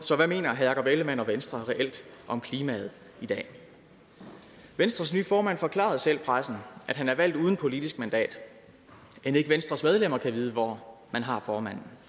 så hvad mener herre jakob ellemann jensen og venstre reelt om klimaet i dag venstres nye formand forklarede selv pressen at han er valgt uden politisk mandat end ikke venstres medlemmer kan vide hvor man har formanden